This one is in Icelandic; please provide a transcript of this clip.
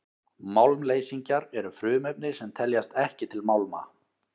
málmleysingjar eru frumefni sem teljast ekki til málma